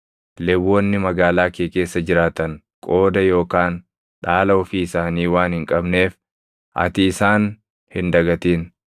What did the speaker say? Lewwonni magaalaa kee keessa jiraatan qooda yookaan dhaala ofii isaanii waan hin qabneef ati isaan hin dagatin.